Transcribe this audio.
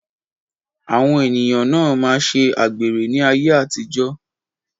Àwọn ènìyàn na máa ṣe àgbèrè ní ayé àtijó.